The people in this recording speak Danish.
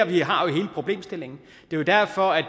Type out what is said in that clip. vi har hele problemstillingen det er derfor at